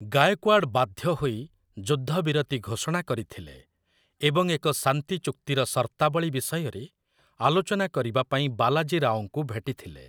ଗାଏକୱାଡ଼ ବାଧ୍ୟ ହୋଇ ଯୁଦ୍ଧବିରତି ଘୋଷଣା କରିଥିଲେ, ଏବଂ ଏକ ଶାନ୍ତି ଚୁକ୍ତିର ସର୍ତ୍ତାବଳୀ ବିଷୟରେ ଆଲୋଚନା କରିବାପାଇଁ ବାଲାଜୀ ରାଓଙ୍କୁ ଭେଟିଥିଲେ ।